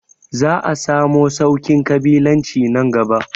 Za a samu sauƙin ƙabilanci nan gaba